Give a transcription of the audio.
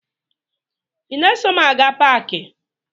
Ị na-eso m aga paakị?